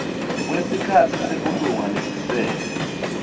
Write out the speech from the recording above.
kwesikhatsi sebulunga lesisele